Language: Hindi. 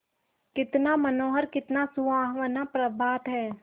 कितना मनोहर कितना सुहावना प्रभात है